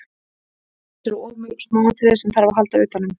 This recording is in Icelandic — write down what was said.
Til þess eru of mörg smáatriði sem þarf að halda utanum.